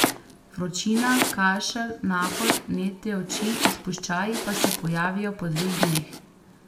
Vročina, kašelj, nahod, vnetje oči, izpuščaji pa se pojavijo po dveh dneh.